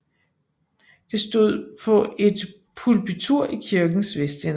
Det stod på et pulpitur i kirkens vestende